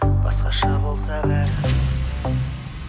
басқаша болса бәрі